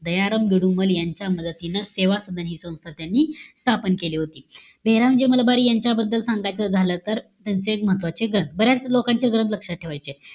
दयाराम जोडुमल यांच्या मदतीनं सेवा सदन हि संस्था त्यांनी स्थापन केली होती. बेहेरामजी मलबार यांच्याबद्दल, सांगायचं झालं तर, त्यांचे एक महत्वाचे ग्रंथ. बऱ्याच लोकांचे ग्रंथ लक्षात ठेवायचे.